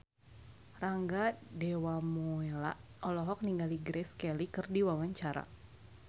Rangga Dewamoela olohok ningali Grace Kelly keur diwawancara